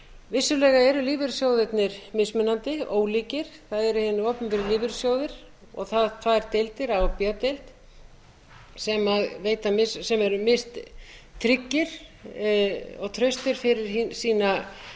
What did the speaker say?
vissulega eru lífeyrissjóðirnir mismunandi ólíkir það eru hinir opinberu lífeyrissjóðir og þær tvær deildir a og b deild sem eru mistryggar og traustir fyrir